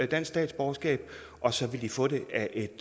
dansk statsborgerskab og så vil de få det af et